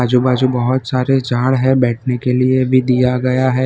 आजू बाजू बहोत सारे झाड़ हैं बैठने के लिए भी दिया गया है।